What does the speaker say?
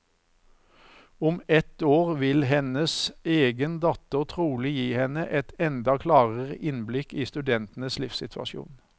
Om ett år vil hennes egen datter trolig gi henne et enda klarere innblikk i studentenes livssituasjon.